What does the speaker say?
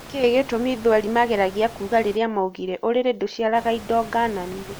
Nĩkĩ gĩtũmi thweri mageragia kuga rĩrĩa maugire " ũrĩrĩ ndũciaraga indo ngananie"